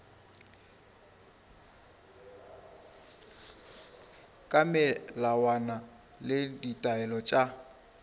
ka melawana le ditaelo tša